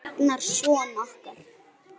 Og Ragnar son okkar.